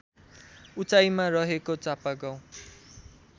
उचाइमा रहेको चापागाउँ